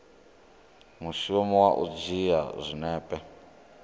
mushumo wa u dzhia zwinepe